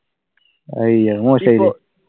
അതുശേരി അത് മോശമായില്ലേ?